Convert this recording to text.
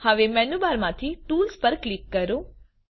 હવે મેનુબારમાંથી ટૂલ્સ પર ક્લિક કરો